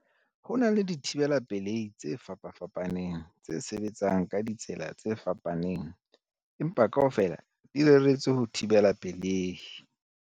Ho na le dithibela pelehi tse fapafapaneng tse sebetsang ka ditsela tse fapaneng, empa kaofela di reretswe ho thibela pelehi.